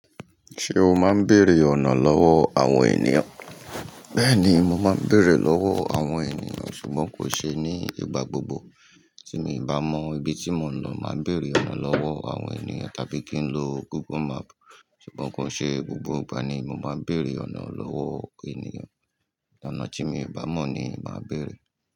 Ṣé o máa ń bèrè ọ̀nà lọ́wọ́ àwọn ènìyàn? Bẹ́ẹ̀ni, mo máa ń bèrè lọ́wọ́ àwọn ènìyàn ṣùgbọ́n kò ṣe ní ìgbà gbogbo. Tí mo bá mọ ibi tí mò ń lọ, màá bèrè ọ̀nà lọ́wọ́ àwọn ènìyàn tàbí kí n lo Google Map. Ṣùgbọ́n kò ṣe gbogbo ìgbà ni mo máa ń bèrè ọ̀nà lọ́wọ́ ènìyàn. Ọ̀nà tí mi o bá mọ̀ ni màá bèrè.